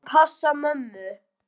Við skulum passa mömmu.